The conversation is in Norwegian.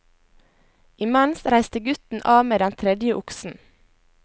Imens reiste gutten av med den tredje oksen.